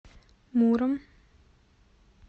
муром